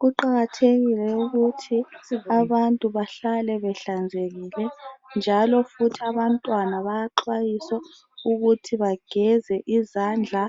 Kuqakathekile ukuthi abantu bahlale behlanzekile njalo futhi abantwana bayaxwayiswa ukuthi bageze izandla